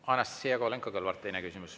Anastassia Kovalenko-Kõlvart, teine küsimus.